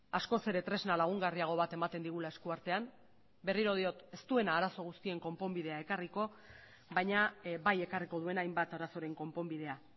askoz ere tresna lagungarriago bat ematen digula eskuartean berriro diot ez duena arazo guztien konponbidea ekarriko baina bai ekarriko duena hainbat arazoren konponbidea